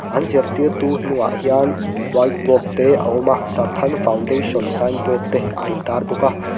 an zirtirtu hnungah hian whiteboard te a awm a sarthak foundation signboard te a intar bawk a.